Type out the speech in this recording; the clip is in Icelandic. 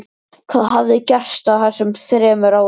Hvað hafði gerst á þessum þremur árum?